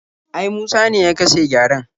Ai Musa ne ya kashe gyaren.